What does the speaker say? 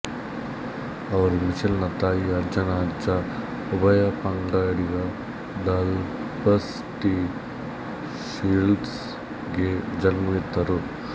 ಅವರು ಮಿಚೆಲ್ ನ ತಾಯಿಯ ಅಜ್ಜನ ಅಜ್ಜ ಉಭಯಪಂಗಡಿಗ ಡಾಲ್ಫಸ್ ಟಿ ಷೀಲ್ಡ್ಸ್ ಗೆ ಜನ್ಮವಿತ್ತರು